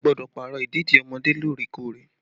A gbọ́dọ̀ Pààrọ̀ ìdèdí ọmọdé lóòrè kóòrè